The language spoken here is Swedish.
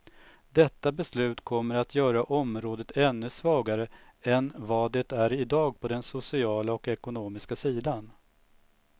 Detta beslut kommer att göra området ännu svagare än vad det är idag på den sociala och ekonomiska sidan.